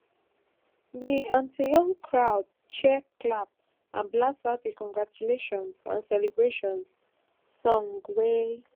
di antiyoon crowd cheer clap and blast out a congratulations and celebrations song wen